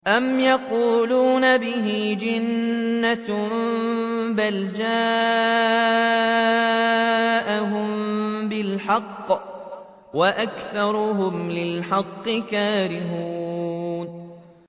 أَمْ يَقُولُونَ بِهِ جِنَّةٌ ۚ بَلْ جَاءَهُم بِالْحَقِّ وَأَكْثَرُهُمْ لِلْحَقِّ كَارِهُونَ